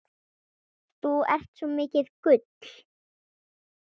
Þú ert svo mikið gull.